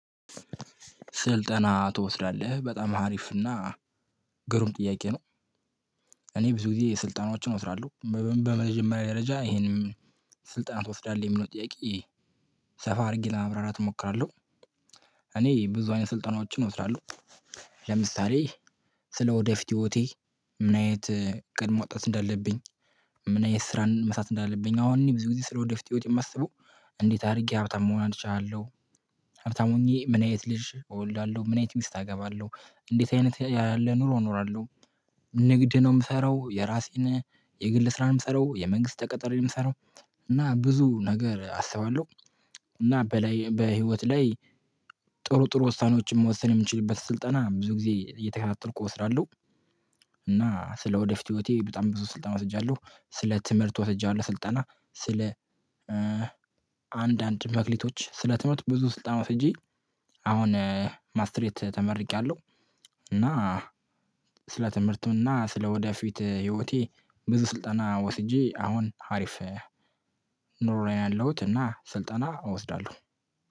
ስልጠና ትወስዳለህ በጣም አሪፍና ግሩም ጥያቄ ነው? እኔ ብዙ ጊዜ ስልጠናዎችን እወስዳለሁ በመጀመሪያ ደረጃ ይሄንም ስልጣና ትወስዳለህ የሚለው ጥያቄ ሰፋ አድርጌ ለማብራራት እሞክራለሁ። እኔ ብዙ አይነት ስልጠናዎችን ወስዳለሁ። ለምሳሌ ስለ ወደፊት ህይወቴ ምን አይነት እቅድ ማውጣት እንዳለብኝ? ምን አይነት ስራን መስራት እንዳለብኝ? አሁን እኔ ብዙ ጊዜ ስለ ወደፊት ህይወት የማስበው እንዴት አድርጌ ሀብታም መሆን አችላለሁ? ሀብታም ሆኜ ምን አይነት ልጅ እወልዳለሁ? ምን አይነት ሚስት አገባለሁ? እንዴት አይነት ያለ ኑሮ እኖራለሁ? ንግድ ነው የምሰራው የራሴን የግል ስራን የምሰራው የመንግስት ተቀጥሬ ነው የምሰራው። እና ብዙ ነገር አስባለሁ። እና በላይ በህይወት ላይ ጥሩ ጥሩ ውሳኔዎችን መወሰን የምችልበት ስልጠና ብዙ ጊዜ እየተከታተልኩ እወስዳለሁ። እና ስለ ወደፊት ህይወቴ በጣም ብዙ ስልጣና ወስጃለሁ። ስለ ትምህርት ወስጃለሁ ስልጠና ስለ አንዳንድ መክሊቶች ስለትምህርት ብዙ ስልጣን ወስጄ አሁን ማስትሬት ተመርቄያለሁ። እና ስለ ትምህርትም ትምህርቱና ስለ ወደፊት ህይወቴ ብዙ ስልጠና ወስጄ አሁን ሀሪፍ ኑሮ ያለሁት እና ስልጠና እወስዳለሁ